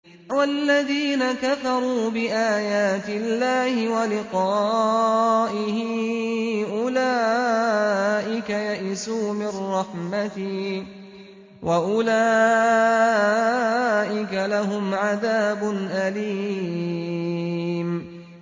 وَالَّذِينَ كَفَرُوا بِآيَاتِ اللَّهِ وَلِقَائِهِ أُولَٰئِكَ يَئِسُوا مِن رَّحْمَتِي وَأُولَٰئِكَ لَهُمْ عَذَابٌ أَلِيمٌ